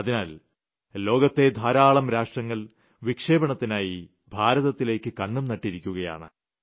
അതിനാൽ ലോകത്തെ ധാരാളം രാഷ്ട്രങ്ങൾ വിക്ഷേപണത്തിനായി ഭാരത്തിലേക്ക് കണ്ണും നട്ട് ഇരിക്കുകയാണ്